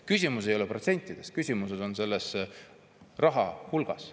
Küsimus ei ole protsentides, küsimus on raha hulgas.